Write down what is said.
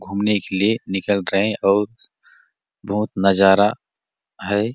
घूमने के लिए निकल रहै है और बहुत नजारा है।